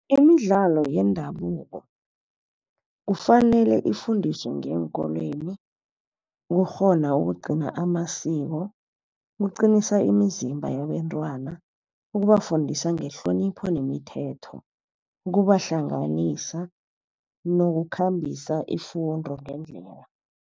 Imidlalo yendabuko kufanele ifundiswe ngeenkolweni ukukghona ukugcina amasiko, ukuqinisa imizimba yabentwana ukubafundisa ngehlonipho nemithetho, ukubahlanganisa nokukhambisa ifundo ngendlela.